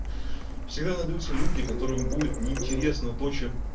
всегда найдутся люди которым будет неинтересно то чем